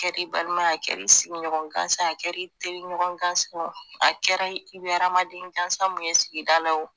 A Kɛr'i balima ye a kɛr'i sigiɲɔgɔn gansa ye a kɛr'i teriɲɔgɔn gansa ye o a kɛra i be adamaden gansan mun ye sigida la o